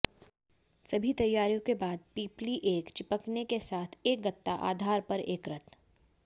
सभी तैयारियों के बाद पिपली एक चिपकने के साथ एक गत्ता आधार पर एकत्र